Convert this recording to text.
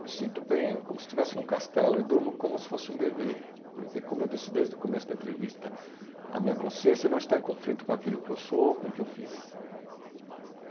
Me sinto bem como se estivesse em um castelo e durmo como se fosse um bebê, porque, como eu disse desde o começo da entrevista, a minha consciência não está em conflito com aquilo que eu sou ou com o que eu fiz.